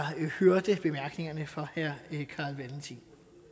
hørte bemærkningerne fra herre carl valentin